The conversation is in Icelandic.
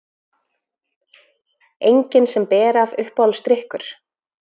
Engin sem ber af Uppáhaldsdrykkur?